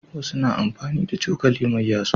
Wasu na amfani da cokali mai yatsu.